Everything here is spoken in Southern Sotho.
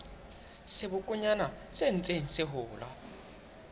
sebokonyana se ntseng se hola